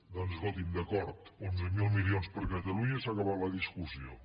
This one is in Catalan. doncs escolti’m d’acord onze mil milions per a catalunya i s’ha acabat la discussió